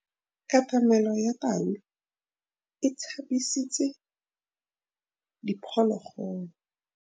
Katamêlô ya tau e tshabisitse diphôlôgôlô.